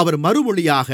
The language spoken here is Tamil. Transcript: அவர் மறுமொழியாக